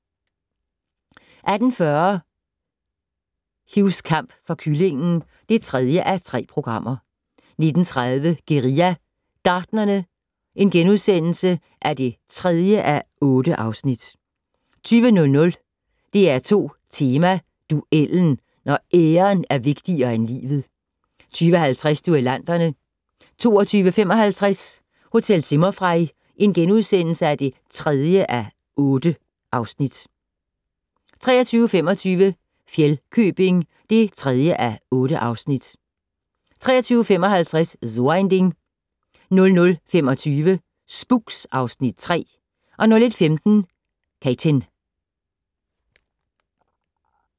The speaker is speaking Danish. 18:40: Hughs kamp for kyllingen (3:3) 19:30: Guerilla Gartnerne (3:8)* 20:00: DR2 Tema: Duellen - når æren er vigtigere end livet 20:50: Duellanterne 22:55: Hotel Zimmerfrei (3:8)* 23:25: Fjellkøbing (3:8) 23:55: So ein Ding 00:25: Spooks (Afs. 3) 01:15: Katyn